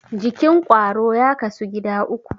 Jikin ƙwaro ya kasu gida uku.